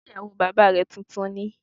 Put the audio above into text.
Ṣé ìyàwó bàbá rẹ tuntun ni?